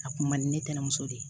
A kun man di ne tɛna muso de ye